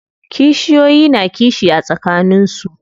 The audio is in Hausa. Kishiyoyi na kishi a tsakanin su.